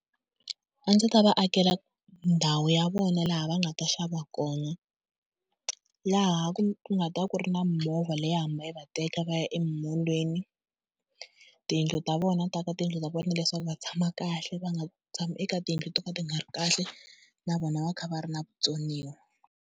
A ndzi ta va akela ndhawu ya vona laha va nga ta xava kona, laha ku nga ta ku ri na mimovha leyi hamba yi va teka va ya emimolweni. Tiyindlu ta vona ni ta aka tiyindlu ta vona leswaku va tshama kahle va nga tshami eka tiyindlu to ka ti nga ri kahle na vona va kha va ri na vutsoniwa.